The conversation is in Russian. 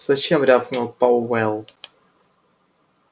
зачем рявкнул пауэлл